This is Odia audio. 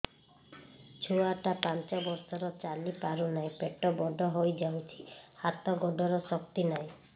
ଛୁଆଟା ପାଞ୍ଚ ବର୍ଷର ଚାଲି ପାରୁନାହଁ ପେଟ ବଡ ହୋଇ ଯାଉଛି ହାତ ଗୋଡ଼ର ଶକ୍ତି ନାହିଁ